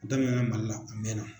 Daminɛna Mali la a mɛna